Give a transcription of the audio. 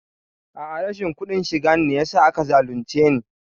A'a rashin kuɗin shiga ne yasa aka zalunce ni